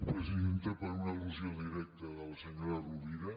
presidenta per una al·lusió directa de la senyora rovira